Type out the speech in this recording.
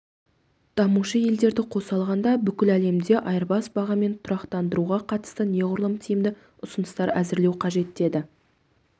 дамушы елдерді қоса алғанда бүкіл әлемде айырбас бағамын тұрақтандыруға қатысты неғұрлым тиімді ұсыныстар әзірлеу қажет деді